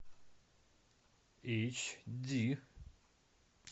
эйч ди